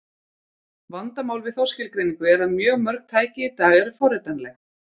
Vandamál við þá skilgreiningu er að mjög mörg tæki í dag eru forritanleg.